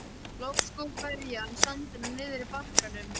Loks skóf ferjan sandinn á nyrðri bakkanum.